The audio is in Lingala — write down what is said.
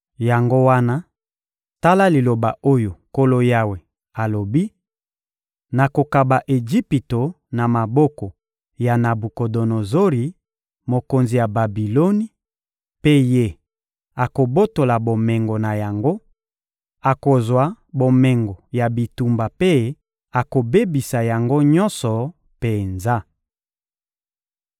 Yango wana, tala liloba oyo Nkolo Yawe alobi: Nakokaba Ejipito na maboko ya Nabukodonozori, mokonzi ya Babiloni; mpe ye, akobotola bomengo na yango, akozwa bomengo ya bitumba mpe akobebisa yango nyonso penza.